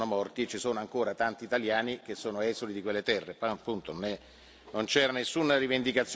Ho detto soltanto che c'erano degli italiani che sono morti, e ci sono ancora tanti italiani che sono esuli di quelle terre.